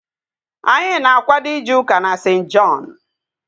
Anyị na-akwado ije ụka na St. Jọn